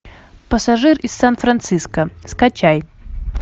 пассажир из сан франциско скачай